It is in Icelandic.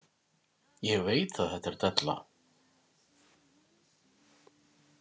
Ég veit að þetta er della.